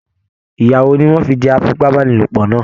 Ìya wò ní wọn fí jẹ afipabanilopo náà?